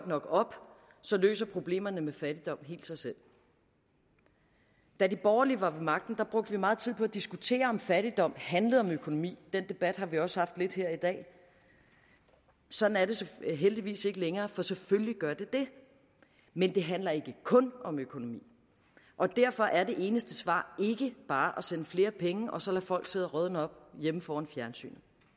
nok op så løser problemerne med fattigdom helt sig selv da de borgerlige var ved magten brugte vi meget tid på at diskutere om fattigdom handlede om økonomi og den debat har vi også haft lidt her i dag sådan er det heldigvis ikke længere for selvfølgelig gør det det men det handler ikke kun om økonomi og derfor er det eneste svar ikke bare at sende flere penge og så lade folk sidde og rådne op hjemme foran fjernsynet